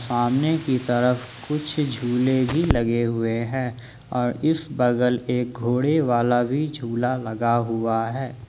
सामने की तरफ कुछ झूले भी लगे हुए हैं और इस बगल एक घोड़े वाला भी झूला लगा हुआ है।